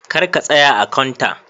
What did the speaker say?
kar ka tsaya a "counter".